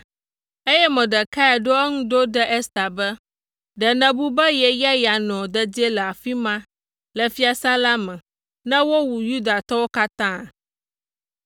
eye Mordekai ɖo eŋu ɖo ɖe Ester be, “Ɖe nèbu be ye ya yeanɔ dedie le afi ma, le fiasã la me, ne wowu Yudatɔwo katã?